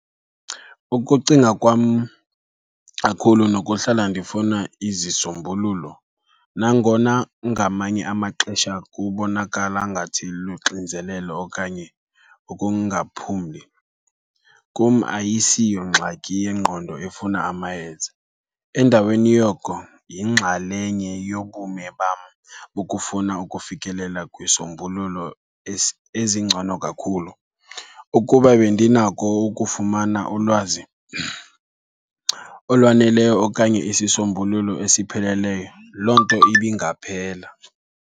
Ukucinga kwam kakhulu nokuhlala ndifuna izisombululo, nangona ngamanye amaxesha kubonakala ngathi luxinzelelo okanye ukungaphumli, kum ayisiyongxaki yengqondo efuna amayeza, endaweni yoko yingxalenye yobume bam bokufuna ukufikelela kwisombululo ezingcono kakhulu. Ukuba bendinako ukufumana ulwazi olwaneleyo okanye isisombululo esipheleleyo, loo nto ibingaphela.